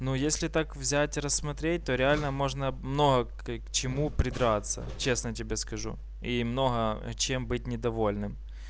ну если так взять рассмотреть то реально можно много к чему придраться честно тебе скажу и много чем быть недовольным